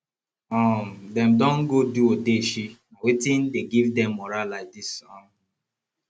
um dem don go do odeshi na wetin dey give dem morah like dis um